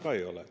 Mina ka ei ole.